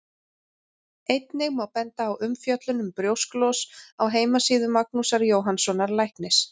Einnig má benda á umfjöllun um brjósklos á heimasíðu Magnúsar Jóhannssonar læknis.